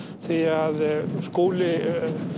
því að Skúli